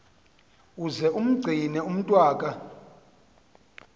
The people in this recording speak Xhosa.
uze umgcine umntwaka